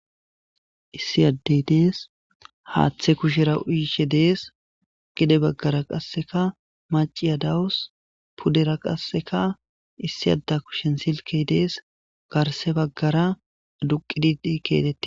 Issi ade de'es haathe kushera uyishe de'es gede bagara kaseka maciya de'awus pudera kaseka issi ade kushen silke de'es garsa bagara duuqiidi de'es.